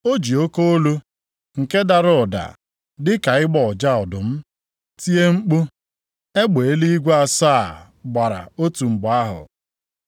O ji oke olu, nke dara ụda dịka ịgbọ ụja ọdụm, tie mkpu, egbe eluigwe asaa gbara otu mgbe ahụ.